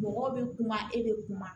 Mɔgɔw bɛ kuma e bɛ kuma